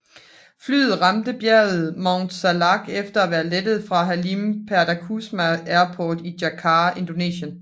Flyet ramte bjerget Mount Salak efter at være lettet fra Halim Perdanakusuma Airport i Jakarta i Indonesien